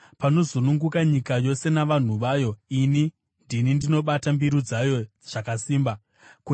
Panozununguka nyika yose navanhu vayo, ini ndini ndinobata mbiru dzayo zvakasimba. Sera